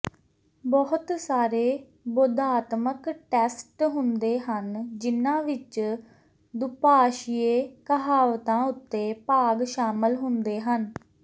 ਬਹੁਤ ਸਾਰੇ ਬੋਧਾਤਮਕ ਟੈਸਟ ਹੁੰਦੇ ਹਨ ਜਿਨ੍ਹਾਂ ਵਿੱਚ ਦੁਭਾਸ਼ੀਏ ਕਹਾਵਤਾਂ ਉੱਤੇ ਭਾਗ ਸ਼ਾਮਲ ਹੁੰਦੇ ਹਨ